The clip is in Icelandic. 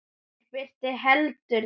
Í gær birti heldur til.